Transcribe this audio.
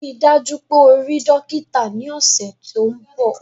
Rii daju pe o rii dokita ni ọsẹ to nbọ!